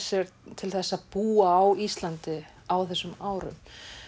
til þess að búa á Íslandi á þessum árum